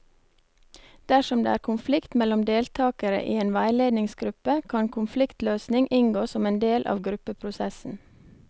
Dersom det er konflikt mellom deltakere i en veiledningsgruppe, kan konfliktløsning inngå som en del av gruppeprosessen.